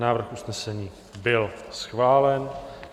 Návrh usnesení byl schválen.